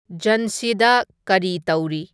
ꯓꯟꯁꯤꯗ ꯀꯔꯤ ꯇꯧꯔꯤ